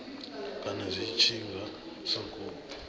kana zwi tshi nga sokou